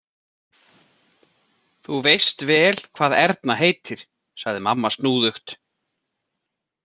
Þú veist vel hvað Erna heitir, sagði mamma snúðugt.